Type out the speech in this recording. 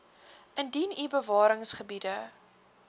indien u bewaringsgebiede